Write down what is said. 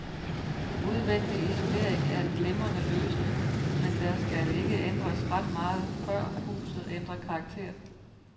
Udvendig isolering er en glimrende løsning, men der skal ikke ændres ret meget, før huset ændrer karakter.